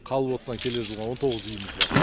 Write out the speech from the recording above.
қалып отқан келер жылға он тоғыз үйіміз бар